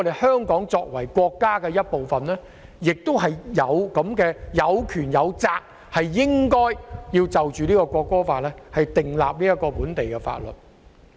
香港作為國家的一部分，有權亦有責就《國歌法》訂立本地法律。